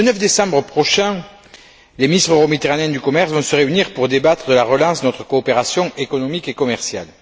Le 9 décembre prochain, les ministres euro méditerranéens du commerce vont se réunir pour débattre de la relance de notre coopération économique et commerciale.